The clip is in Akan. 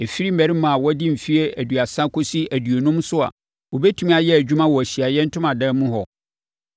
ɛfiri mmarima a wɔadi mfeɛ aduasa kɔsi aduonum so a wɔbɛtumi ayɛ adwuma wɔ Ahyiaeɛ Ntomadan mu hɔ.